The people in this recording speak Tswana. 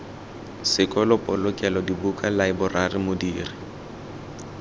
sekolo polokelo dibuka laeborari modiri